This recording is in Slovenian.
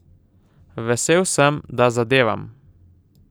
Vesel sem, da zadevam.